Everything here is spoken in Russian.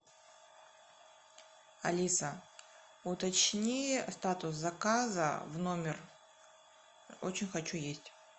алиса уточни статус заказа в номер очень хочу есть